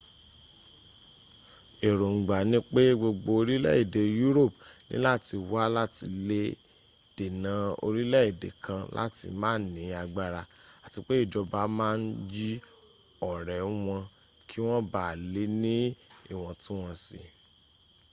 èróngbà ni pé gbogbo orílẹ̀ èdè europe níláti wà láti lè dènà orílẹ̀ èdè kan láti má ní agbára àti pé ìjọba ma ń yí ọ̀rẹ́ wọn kí wọ́n bá lè ní ìwọ̀ntúnwọ̀nsí